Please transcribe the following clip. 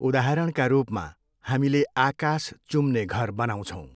उदाहरणका रूपमा, हामीले आकाश चुम्ने घर बनाउछौँ।